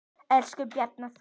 Elsku Bjarni Þór.